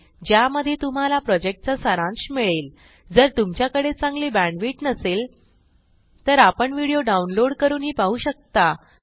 ज्यामध्ये तुम्हाला प्रॉजेक्टचा सारांश मिळेलजर तुमच्याकडे चांगली बॅण्डविड्थ नसेल तर आपण व्हिडिओ डाउनलोड करूनही पाहू शकता